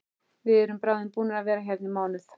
Við erum bráðum búnir að vera hérna í mánuð.